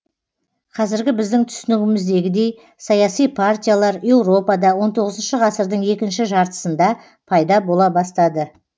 қазіргі біздің түсінігіміздегідей саяси партиялар еуропада он тоғызыншы ғасырдың екінші жартысында пайда бола бастады